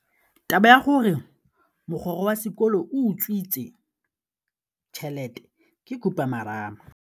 Taba ya gore mogokgo wa sekolo o utswitse tšhelete ke khupamarama.